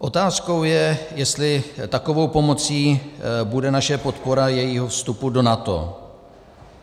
Otázkou je, jestli takovou pomocí bude naše podpora jejího vstupu do NATO.